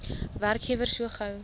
werkgewer so gou